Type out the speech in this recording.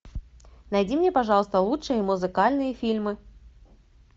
найди мне пожалуйста лучшие музыкальные фильмы